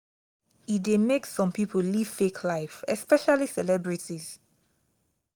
e de make some pipo live fake life especially celebrities